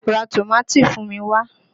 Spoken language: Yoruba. Ra tòmátì fún mi wá!